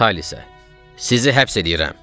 Vitalisə: "Sizi həbs eləyirəm.